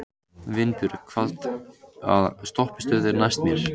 Vinbjörg, hvaða stoppistöð er næst mér?